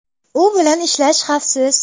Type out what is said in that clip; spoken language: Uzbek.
U bilan ishlash xavfsiz.